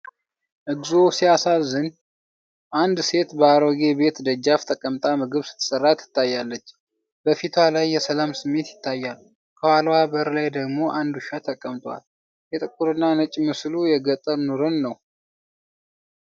እግዚኦ ሲያሳዝን! አንድ ሴት በአሮጌ ቤት ደጃፍ ተቀምጣ ምግብ ስትሰራ ትታያለች። በፊቷ ላይ የሰላም ስሜት ይታያል ፣ ከኋላዋ በር ላይ ደግሞ አንድ ውሻ ተቀምጧል። የጥቁርና ነጭ ምስሉ የገጠር ኑሮን ነው።